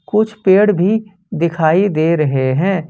कुछ पेड़ भी दिखाई दे रहे हैं।